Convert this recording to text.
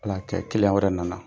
Ala y'a kɛ wɛrɛ nana.